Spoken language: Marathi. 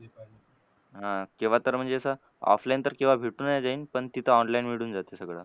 हां केव्हातर म्हणजे असं offline तर केव्हा भेटू नाही ते पण तिथं online भेटून जातं सगळं.